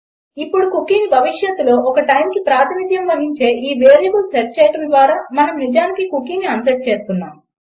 ఇప్పుడు కుకీని భవిష్యత్తులో ఒక టైమ్కి ప్రాతినిధ్యం వహించే ఈ వేరియబుల్కు సెట్ చేయడం ద్వారా మనం నిజానికి కుకీని అన్సెట్ చేస్తున్నాము